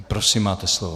Prosím, máte slovo.